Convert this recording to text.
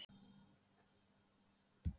Hann kallaði mótmælin óábyrga hegðun